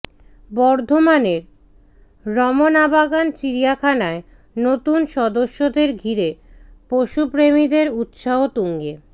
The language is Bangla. বর্ধমানের রমনাবাগান চিড়িয়াখানায় নতুন সদস্যদের ঘিরে পশুপ্রেমীদের উৎসাহ তুঙ্গে